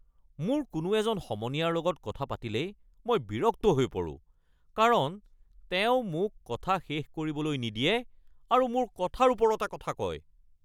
মোৰ কোনো এজন সমনীয়াৰ লগত কথা পাতিলেই মই বিৰক্ত হৈ পৰোঁ কাৰণ তেওঁ মোক কথা শেষ কৰিবলৈ নিদিয়ে আৰু মোৰ কথাৰ ওপৰতে কথা কয়।